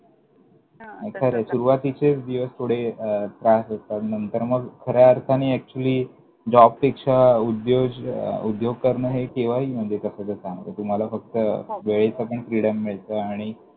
खंरंय, सुरुवातीचेच दिवस थोडे त्रास देतात, मग नंतर खऱ्या अर्थाने actually जॉबपेक्षा उद्योज, उद्योग करणं हे केव्हाही म्हणजे तस तर चांगलं, म्हणजे तुम्हाला फक्त हो वेळेचं पण freedom मिळतं. आणि